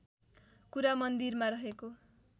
कुरा मन्दिरमा रहेको